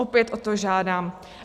Opět o to žádám.